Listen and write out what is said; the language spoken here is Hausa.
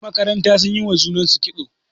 yanmakaranta sun yi wa junansu kitso